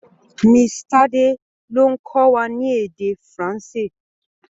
Mrs. Tade ló ń kọ́ wa ní èdè Faransé.